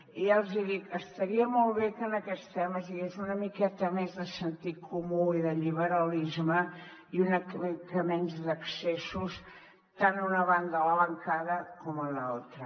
i ja els hi dic estaria molt bé que en aquests temes hi hagués una miqueta més de sentit comú i de liberalisme i una mica menys d’excessos tant a una banda de la bancada como en la otra